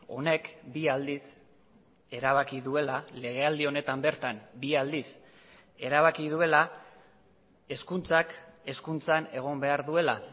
honek bi aldiz erabaki duela legealdi honetan bertan bi aldiz erabaki duela hezkuntzak hezkuntzan egon behar duela